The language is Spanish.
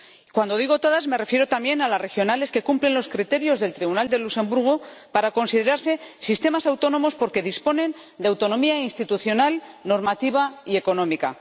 Cuando digo todas me refiero también a las regionales que cumplen los criterios del Tribunal de Luxemburgo para considerarse sistemas autónomos porque disponen de autonomía institucional, normativa y económica.